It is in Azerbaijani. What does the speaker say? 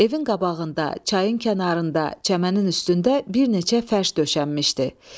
Evin qabağında, çayın kənarında, çəmənin üstündə bir neçə fəş döşənmişdi.